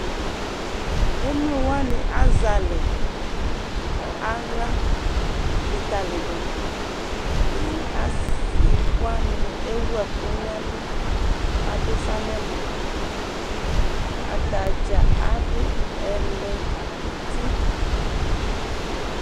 Emlo wani azalɛ nʋ aɣla likaliduƐdini, asiwani ewu ɛkʋ nɛlu, adʋ ufa nɛmɔAtadza adʋ ɛlɛnuti